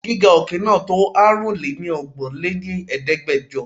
Gíga òkè náà to Aárùn lé ní ọgbọ́n lé ní Ẹ̀ẹ́dẹ́gbẹjọ.